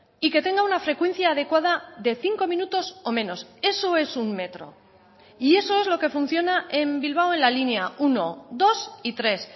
y que tenga una frecuencia adecuada de cinco minutos o menos eso es un metro y eso es lo que funciona en bilbao en la línea uno dos y tres